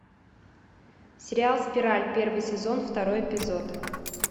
сериал спираль первый сезон второй эпизод